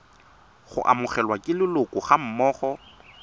go amogelwa ke leloko gammogo